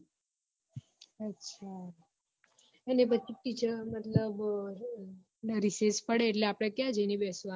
અને પછી teacher મતલબ રિશેષ પડે એટલે આપડે ક્યાં જઈને બેસવાનું